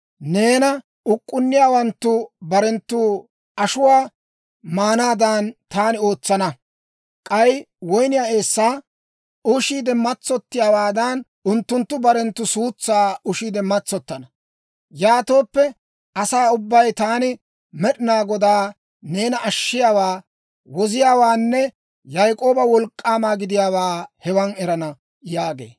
Neena uk'k'unniyaawanttu barenttu ashuwaa maanaadan, taani ootsana; k'ay woyniyaa eessaa ushiide matsottiyaawaadan, unttunttu barenttu suutsaa ushiide matsottana. Yaatooppe asaa ubbay taani Med'inaa Godaa, neena Ashshiyaawaa, Woziyaawaanne, Yaak'ooba Wolk'k'aama gidiyaawaa hewan erana» yaagee.